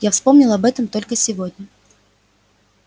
я вспомнила об этом только сегодня